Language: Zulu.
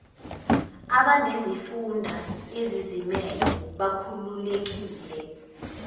abanezifunda ezizimele bakhululekile